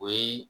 O ye